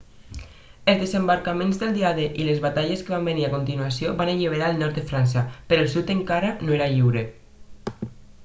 els desembarcaments del dia d i les batalles que van venir a continuació van alliberar el nord de frança però el sud encara no era lliure